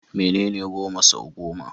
Menene goma sau goma?